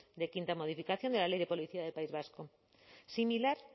de quinta modificación de la ley de policía del país vasco similar